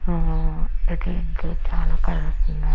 ఆ ఇది .